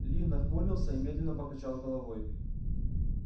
ли нахмурился и медленно покачал головой